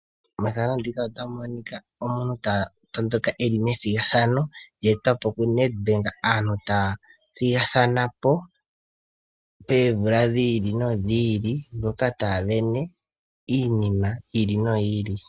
Methano ndika otamu monika omuntu ta tondoka e li methigathano lye etwa po ku NedBank. Aantu taa thigathana po poomvula dhi ili nodhi ili moka taa vene iinima yi ili noyi ili.